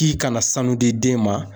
K'i kana sanu di den ma